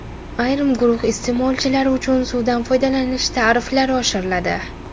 Ayrim guruh iste’molchilari uchun suvdan foydalanish tariflari oshiriladi.